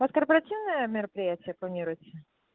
у вас корпоративное мероприятия планируются